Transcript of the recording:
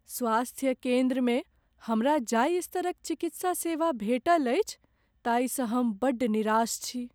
स्वास्थ्य केन्द्रमे हमरा जाहि स्तर क चिकित्सा सेवा भेटल अछि ताहिसँ हम बड्ड निराश छी।